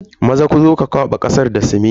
Maza, zo ka kwaba kasar da siminti.